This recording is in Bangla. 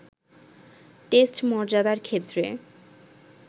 টেস্ট মর্যাদার ক্ষেত্রে